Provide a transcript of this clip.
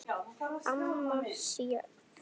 Amma Sjöfn.